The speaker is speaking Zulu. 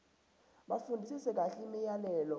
bafundisise kahle imiyalelo